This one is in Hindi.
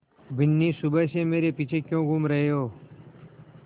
बिन्नी सुबह से मेरे पीछे क्यों घूम रहे हो